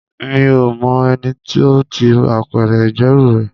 Mi ò mọ ẹni tó ti apẹ̀rẹ̀ ìgbẹ́rù rẹ.